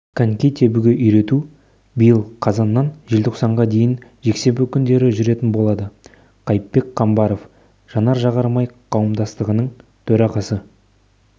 коньки тебуге үйрету биыл қазаннан желтоқсанға дейін жексенбі күндері жүретін болады қайыпбек қамбаров жанар-жағармай қауымдастығының төрағасы